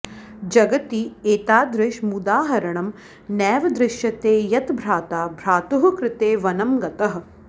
जगति एतादृशमुदाहरणं नैव दृश्यते यत् भ्राता भ्रातुः कृते वनं गतः